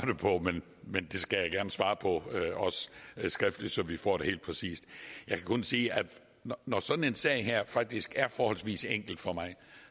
det på men det skal jeg også gerne svare på skriftligt så vi får det helt præcist jeg kan kun sige at når sådan en sag her faktisk er forholdsvis enkel for mig